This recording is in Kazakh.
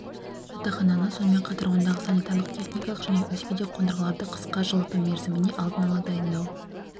жатақхананы сонымен қатар ондағы санитарлық-техникалық және өзге де қондырғыларды қысқы жылыту мерзіміне алдын-ала дайындау